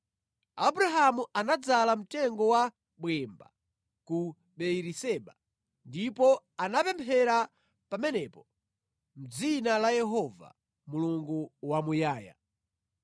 Abrahamu anadzala mtengo wa bwemba ku Beeriseba, ndipo anapemphera pamenepo mʼdzina la Yehova, Mulungu Wamuyaya.